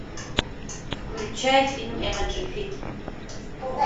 включай фильм эмоджи фильм